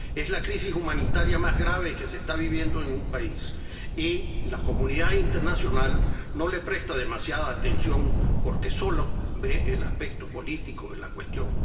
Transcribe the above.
Es la crisis humanitaria más grave que se está viviendo en un país y la comunidad internacional no le presta demasiada atención porque solo ve el aspecto político en la cuestión.